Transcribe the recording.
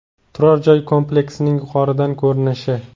Turar-joy kompleksining yuqoridan ko‘rinishi.